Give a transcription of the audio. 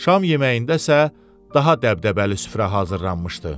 Şam yeməyində isə daha dəbdəbəli süfrə hazırlanmışdı.